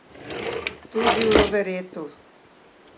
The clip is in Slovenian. Tudi v Roveretu.